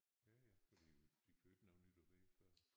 Ja ja fordi de får ikke noget nyt at vide før